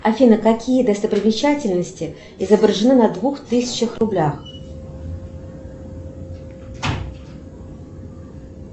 афина какие достопримечательности изображены на двух тысячах рублях